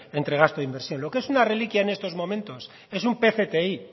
entre gasto e inversión lo que es una reliquia en estos momentos es un pcti